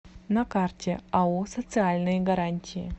на карте ао социальные гарантии